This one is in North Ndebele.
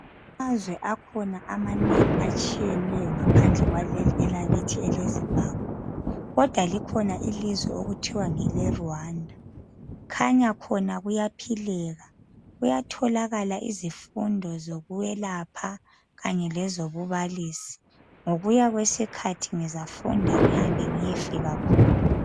Amazwe akhona amanengi atshiyeneyo ngaphandle kwaleli elakithi eleZimbabwe. Kodwa likhona elinye ilizwe okuthiwa ngeleRwanda kukhanya khona kuyaphileka kuyatholakala izifundo zokwelaphela kanye lezobubalisi. Ngokuya kwesikhathi ngizafunda ngiyefika khona.